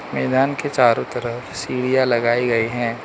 मैदान के चारों तरफ सीढ़ियां लगाई गई हैं।